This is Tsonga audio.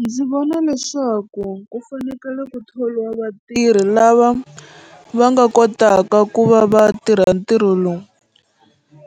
Ndzi vona leswaku ku fanekele ku thoriwa vatirhi lava va nga kotaka ku va va tirha ntirho lowu